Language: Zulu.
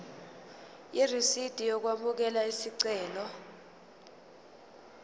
irisidi lokwamukela isicelo